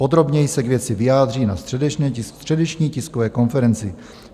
Podrobněji se k věci vyjádří na středeční tiskové konferenci.